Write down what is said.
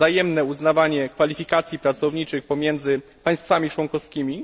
wzajemne uznawanie kwalifikacji pracowniczych pomiędzy państwami członkowskimi.